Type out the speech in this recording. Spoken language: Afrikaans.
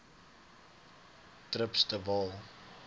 trips de waal